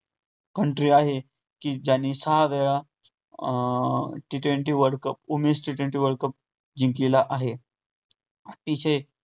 country आहे. कि ज्यांनी सहा वेळा T twenty world cup उमेष T twenty world cup जिंकलेला आहे. अतिशय